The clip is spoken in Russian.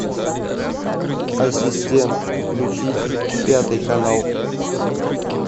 ассистент включить пятый канал